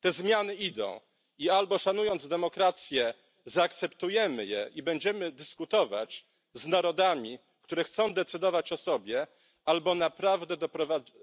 Te zmiany idą i albo szanując demokrację zaakceptujemy je i będziemy dyskutować z narodami, które chcą decydować o sobie, albo naprawdę